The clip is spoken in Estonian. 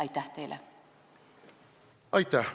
Aitäh!